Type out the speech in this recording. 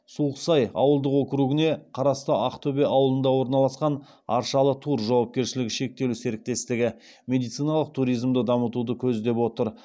суықсай ауылдық округіне қарасты ақтөбе ауылында орналасқан аршалы тур жауапкершілігі шектеулі серіктестігі медициналық туризмді дамытуды көздеп отыр